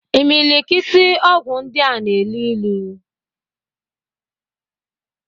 Imilikiti ọgwụ ndịa na-elu ilu.